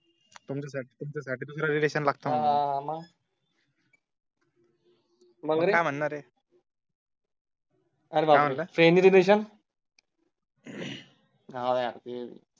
तुमच्या साठी दुसरं रिलेशन लागत म्हटलं मग काय म्हणणार आहे? आर बापरे